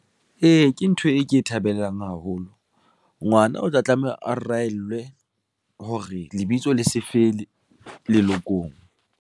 Ee, ke ntho e ke e thabelang haholo ngwana o tla tlameha a reellwe hore lebitso le se fe le lelokong.